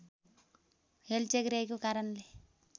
हेलचक्र्याइँको कारणले